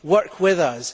Work with us